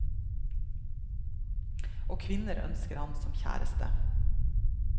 Og kvinner ønsker ham som kjæreste.